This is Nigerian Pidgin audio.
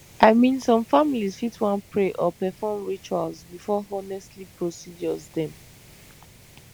i mean some families fit wan pray or perform rituals before honestly procedures dem